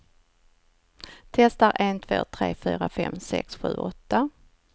Testar en två tre fyra fem sex sju åtta.